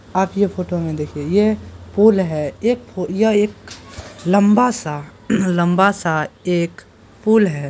आप यह फोटो में देखिए यह पुल है एक फो यह एक लंबा सा लंबा सा एक पुल है।